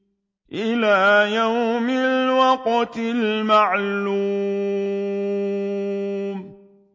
إِلَىٰ يَوْمِ الْوَقْتِ الْمَعْلُومِ